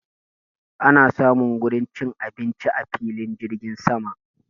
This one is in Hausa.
Ana samun wurin cin abinci a filin jirgin sama